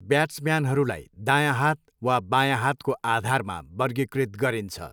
ब्याट्सम्यानहरूलाई दायाँ हात वा बायाँ हातको आधारमा वर्गीकृत गरिन्छ।